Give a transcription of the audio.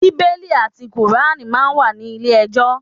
Bíbélì àti kùránì máa ń wà ní ilé ẹjọ́.